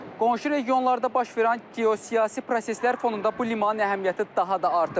Qonşu regionlarda baş verən geosiyasi proseslər fonunda bu limanın əhəmiyyəti daha da artıb.